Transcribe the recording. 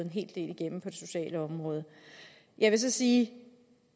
en hel del igennem på det sociale område jeg vil så sige